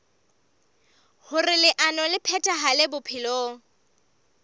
hoer leano le phethahale bophelong